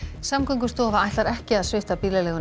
Samgöngustofa ætlar ekki að svipta bílaleiguna